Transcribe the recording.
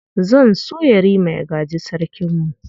Zan so Yarima ya gaji Sarkinmu.